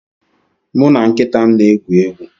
Mụ na nkịta m na-egwu egwu